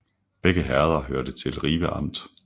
Begge herreder hørte til Ribe Amt